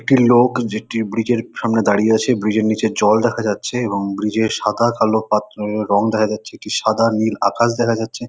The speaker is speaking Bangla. একটি লোক যেটি ব্রীজ -এর সামনে দাঁড়িয়ে আছে। ব্রীজ -এর নীচে জল দেখা যাচ্ছে এবং ব্রীজ -এ সাদা কালো পাত্রর রঙ দেখা যাচ্ছে। একটি সাদা নীল আকাশ দেখা যাচ্ছে।